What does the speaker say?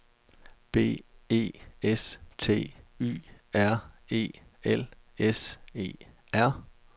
B E S T Y R E L S E R